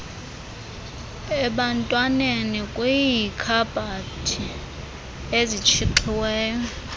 ebantwaneni kwiikhabhathi ezitshixiweyo